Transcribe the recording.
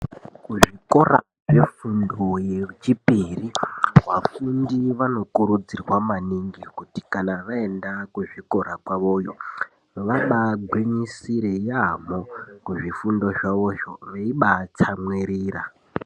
Kuzvikora zvefundo yechipiri vafundi vanokurudzirwa maningi kuti kana vaenda kuzvikora kwavoyo vabagwinyisire yaamho kuzvifundo zvavozvo veibatsamwirira.